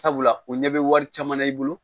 Sabula o ɲɛ bɛ wari caman na i bolo